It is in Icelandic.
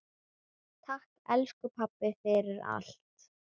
Takk, elsku pabbi, fyrir allt.